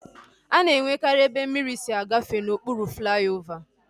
A na-enwekari ebe mmiri si agafe n'okpuru flaiovaa